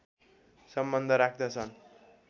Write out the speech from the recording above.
सम्बन्ध राख्दछन्